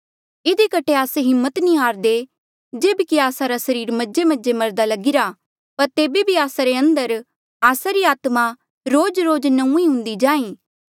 इधी कठे आस्से हिम्मत नी हारदे जेब्की आस्सा रा सरीर मजेमजे मरदा लगिरा पर तेबे भी आस्सा रे अंदर आस्सा री आत्मा रोजरोज नौंईं हुन्दी जाहीं